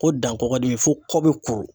Ko dankɔgɔdimi fo kɔ bɛ kuru.